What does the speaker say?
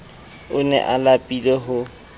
o ne a lapile ho